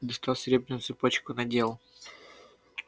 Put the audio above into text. достал серебряную цепочку надел